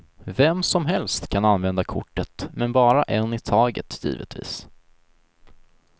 Vem som helst kan använda kortet, men bara en i taget givetvis.